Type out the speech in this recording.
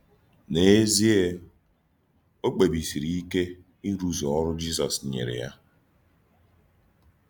N’eziè, ọ kpébísírì íké írụ̀zù òrụ́ Jízọs nyèrè yá.